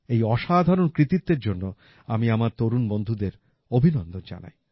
এই অসাধারণ কৃতিত্বের জন্য আমি আমার তরুণ বন্ধুদের অভিনন্দন জানাই